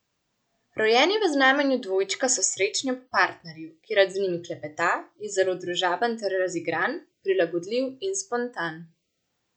Rojeni v znamenju dvojčka so srečni ob partnerju, ki rad z njimi klepeta, je zelo družaben ter razigran, prilagodljiv in spontan.